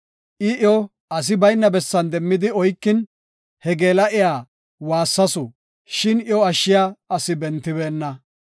I iyo asi bayna bessan demmidi oykin, he geela7iya waassasu, shin iyo ashshiya asi bentibeenna.